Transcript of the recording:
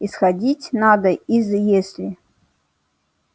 исходить надо из если